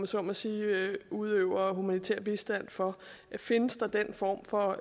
så må sige udøver humanitær bistand for findes den form for